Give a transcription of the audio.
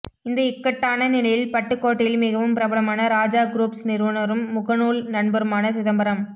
இந்த இக்கட்டான நிலையில் பட்டுக் கோட்டையில் மிகவும் பிரபலமான ராஜா க்ரூப்ஸ் நிறுவனரும் முகநூல் நண்பருமான சிதம்பரம்